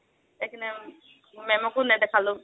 ma'am কো নেদেখুৱালো।